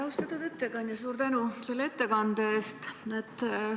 Austatud ettekandja, suur tänu selle ettekande eest!